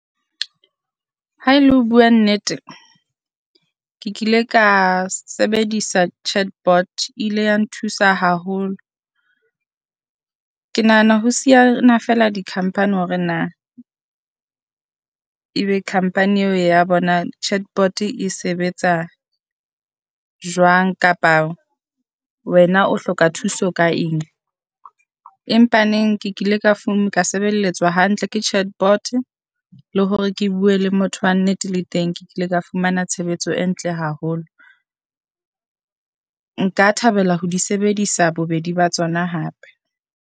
Ha e le ho bua nnete, ke ke ile ka sebedisa chat bot ile ya nthusa haholo. Ke nahana ho siyana feela di company hore na ebe company eo ya bona chat bot e sebetsa jwang, kapa wena o hloka thuso ka eng. Empa neng ke kile ka ka sebelletswa hantle ke chat bot, le hore ke bue le motho wa nnete le teng ke ke ile ka fumana tshebetso e ntle haholo. Nka thabela ho di sebedisa bobedi ba tsona hape.